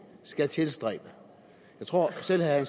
skal tilstræbe jeg tror at selv herre